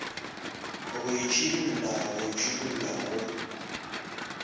go itšhidolla go itšhidolla go